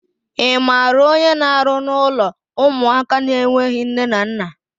I maara onye n'arụ n'ụlọ ụmụaka na-enweghị nne na nna?